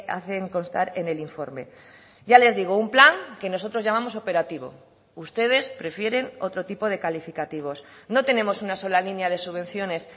hacen constar en el informe ya les digo un plan que nosotros llamamos operativo ustedes prefieren otro tipo de calificativos no tenemos una sola línea de subvenciones